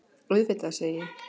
Auðvitað, segi ég.